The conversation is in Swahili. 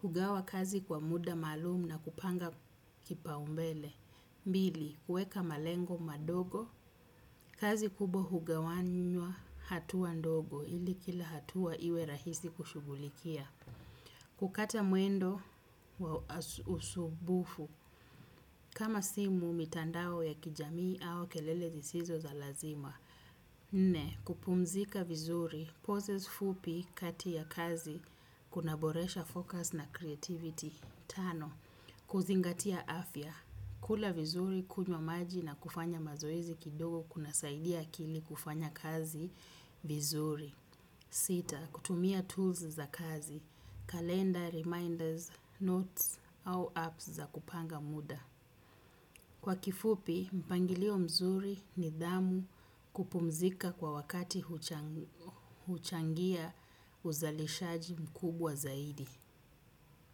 kugawa kazi kwa muda malum na kupanga kipaombele. Bili, weka malengo madogo, kazi kubwa hugawanywa hatuwa ndogo, ili kila hatuwa iwe rahisi kushugulikia. Kukata mwendo wa usubufu. Kama simu, mitandao ya kijamii au kelele sisizo za lazima. Nne, kupumzika vizuri. Poses fupi kati ya kazi. Kuna boresha focus na creativity. Tano, kuzingatia afya. Kula vizuri, kujwa maji na kufanya mazoezi kidogo kuna saidia akili kufanya kazi vizuri. Sita, kutumia tools za kazi, calendar, reminders, notes au apps za kupanga muda. Kwa kifupi, mpangilio mzuri ni dhamu kupumzika kwa wakati huchangia uzalishaji mkubwa zaidi.